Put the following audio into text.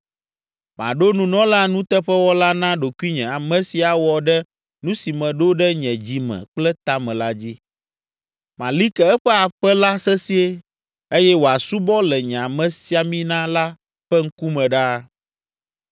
Maɖo nunɔla nuteƒewɔla na ɖokuinye ame si awɔ ɖe nu si meɖo ɖe nye dzi me kple ta me la dzi. Mali ke eƒe aƒe la sesĩe eye wòasubɔ le nye amesiamina la ƒe ŋkume ɖaa.